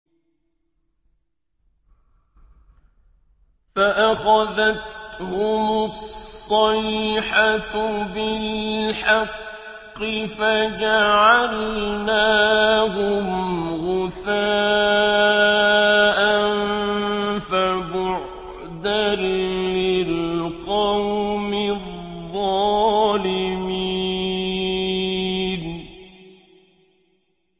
فَأَخَذَتْهُمُ الصَّيْحَةُ بِالْحَقِّ فَجَعَلْنَاهُمْ غُثَاءً ۚ فَبُعْدًا لِّلْقَوْمِ الظَّالِمِينَ